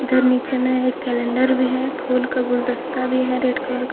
घर नीचे में एक कैलेंडर भी है फूलों का गुलदस्ता भी है रेड कलर का ।